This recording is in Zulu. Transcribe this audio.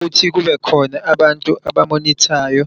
Futhi kube khona abantu abamonithayo